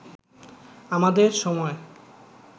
আমাদের সময়